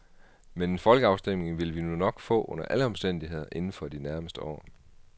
Men en folkeafstemning vil vi nu nok få under alle omstændighder inden for de nærmeste år.